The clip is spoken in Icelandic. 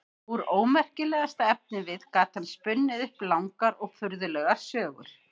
Úr ómerkilegasta efnivið gat hann spunnið upp langar og furðulegar sögur.